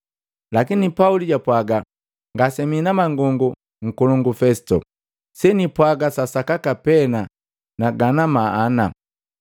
Lakini Pauli japwaga, “Ngase mii na mangongo, nkolongu Fesito. Senipwaga sa sakaka pena na gana maana.